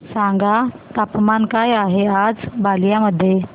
सांगा तापमान काय आहे आज बलिया मध्ये